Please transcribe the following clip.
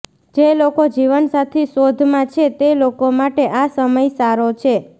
જે લોકો જીવનસાથી શોધમાં છે તે લોકો માટે આ સમય સારો છે